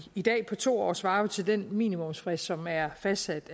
i dag på to år svarer jo til den minimumsfrist som er fastsat